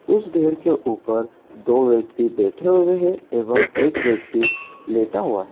उसे ढेर के ऊपर दो व्यक्ति बैठे हुए हैं एवं एक व्यक्ति लेटा हुआ है।